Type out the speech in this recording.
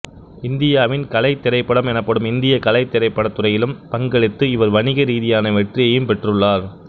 இந்தியாவில் கலைத் திரைப்படம் எனப்படும் இந்திய கலைத் திரப்படத் துறையிலும் பங்களித்து இவர் வணிகரீதியான வெற்றியையும் பெற்றுள்ளார்